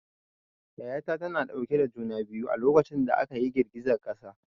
Yaya ta tana dauke da juna biyu a lokacin da aka yi girgizar ƙasa.